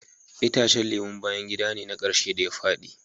Itacen lemun bayan gida ne na karshe da ya fadi.